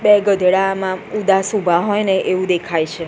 બે ગધેડા આમાં ઉદાસ ઉભા હોઈને એવુ દેખાઈ છે.